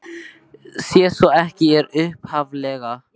Sé svo ekki er upphaflega tillagan fallin niður.